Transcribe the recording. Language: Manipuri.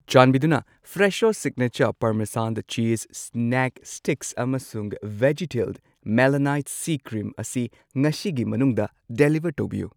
ꯆꯥꯟꯕꯤꯗꯨꯅ Fresho signature parmesan cheese snack sticks ꯑꯃꯁꯨꯡ ꯕꯦꯖꯤꯇꯦꯜ ꯃꯦꯂꯥꯅꯥꯏꯠ ꯁꯤ ꯀ꯭ꯔꯤꯝ ꯑꯁꯤ ꯉꯁꯤꯒꯤ ꯃꯅꯨꯡꯗ ꯗꯤꯂꯤꯕꯔ ꯇꯧꯕꯤꯌꯨ꯫